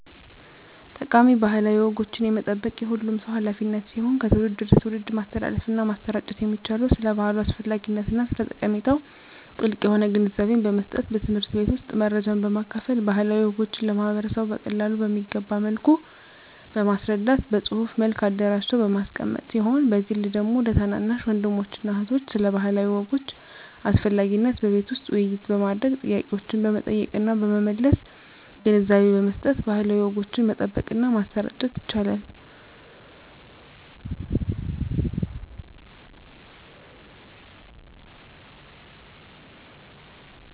ጠቃሚ ባህላዊ ወጎችን የመጠበቅ የሁሉም ሰው ሀላፊነት ሲሆን ከትውልድ ወደ ትውልድ ማስተላለፍና ማሰራጨት የሚቻለው ስለ ባህሉ አስፈላጊነትና ስለ ጠቀሜታው ጥልቅ የሆነ ግንዛቤን በመስጠት በትምህርት ቤት ውስጥ መረጃን በማካፈል ባህላዊ ወጎችን ለማህበረሰቡ በቀላሉ በሚገባ መልኩ በማስረዳት በፅሁፍ መልክ አደራጅቶ በማስቀመጥ ሲሆን በግል ደግሞ ለታናናሽ ወንድሞችና እህቶች ስለ ባህላዊ ወጎች አስፈላጊነት በቤት ውስጥ ውይይት በማድረግ ጥያቄዎችን በመጠየቅና በመመለስ ግንዛቤ በመስጠት ባህላዊ ወጎችን መጠበቅና ማሰራጨት ይቻላል።